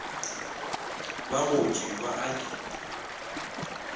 ba gotše ba a di